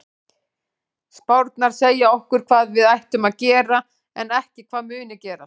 Spárnar segja okkur hvað við ættum að gera en ekki hvað muni gerast.